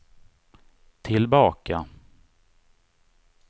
tillbaka